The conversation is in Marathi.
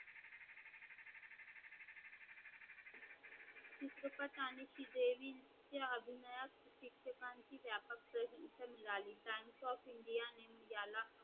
चित्रपट आणि श्रीदेवीच्या अभिनयास शिक्षकांची व्यापक प्रेस इथे निघाली Bank of India याने